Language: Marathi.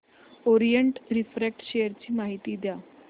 ओरिएंट रिफ्रॅक्ट शेअर ची माहिती द्या